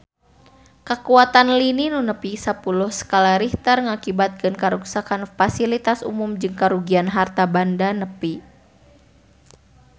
Kakuatan lini nu nepi sapuluh skala Richter ngakibatkeun karuksakan pasilitas umum jeung karugian harta banda nepi ka 1 triliun rupiah